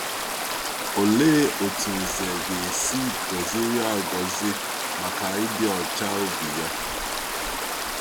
Òlee otú Ǹzè ga-esi gọziri agọzi maka ịdị ọcha obi ya?